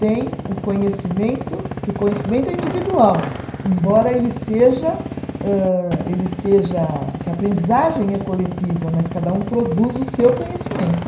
Tem o conhecimento, que o conhecimento é individual, embora ele seja âh, ele seja, que a aprendizagem é coletiva, mas cada um produz o seu conhecimento.